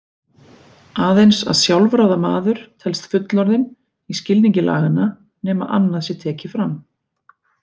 Aðeins að sjálfráða maður telst fullorðinn í skilningi laganna nema annað sé tekið fram.